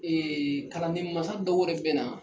kalanden mansaw dɔw yɛrɛ bɛ na.